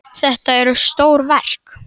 Þetta eru stór verk.